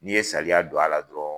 N'i ye saliya don a la dɔrɔn